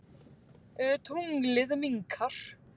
Tunglið minnkar.